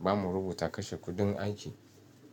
Ba mu rubuta kashe kuɗin aiki.